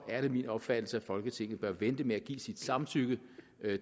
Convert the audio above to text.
er det min opfattelse at folketinget bør vente med at give sit samtykke